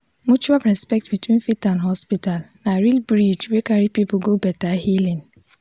mutual respect between faith and hospital na real bridge wey carry people go better healing.